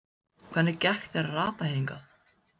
Hvernig gekk þér að rata hingað?